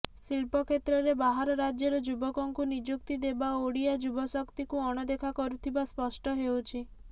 ଶିଳ୍ପ କ୍ଷେତ୍ରରେ ବାହାର ରାଜ୍ୟର ଯୁବକଙ୍କୁ ନିଯୁକ୍ତି ଦେବା ଓଡିଆ ଯୁବଶକ୍ତିକୁ ଅଣଦେଖା କରୁଥିବା ସ୍ପଷ୍ଟ ହେଉଛି